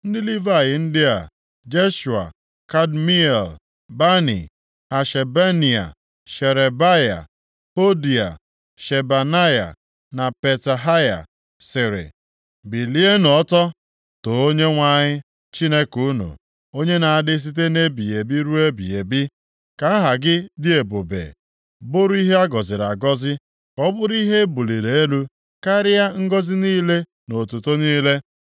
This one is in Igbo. Ndị Livayị ndị a, Jeshua, Kadmiel, Bani, Hashabneia, Sherebaya, Hodia, Shebanaya na Petahaya sịrị, “Bilienụ ọtọ, too Onyenwe anyị Chineke unu, onye na-adị site nʼebighị ebi ruo ebighị ebi.” “Ka aha gị dị ebube bụrụ ihe a gọziri agọzi, ka ọ bụrụ ihe e buliri elu karịa ngọzị niile na otuto niile.